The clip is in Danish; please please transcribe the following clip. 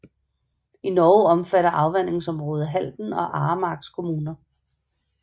I Norge omfatter afvandingsområdet Halden og Aremarks kommuner